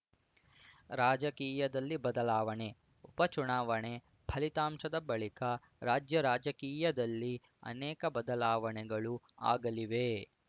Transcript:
ರಾಜಕೀಯದಲ್ಲಿ ಬದಲಾವಣೆ ಉಪ ಚುನಾವಣೆ ಫಲಿತಾಂಶದ ಬಳಿಕ ರಾಜ್ಯ ರಾಜಕೀಯದಲ್ಲಿ ಅನೇಕ ಬದಲಾವಣೆಗಳು ಆಗಲಿವೆ